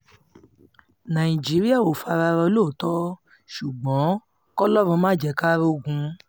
nàìjíríà ò fara rọ lóòótọ́ ṣùgbọ́n kọlọ́run má jẹ́ ká rọ̀gùn o